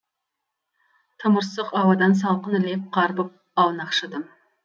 тымырсық ауадан салқын леп қарпып аунақшыдым